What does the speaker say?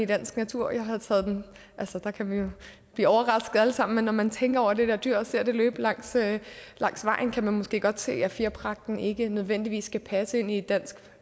danske natur der kan vi jo blive overrasket alle sammen men når man tænker over det der dyr og ser det løbe langt vejen kan man måske godt se at fjerpragten ikke nødvendigvis passer ind i et dansk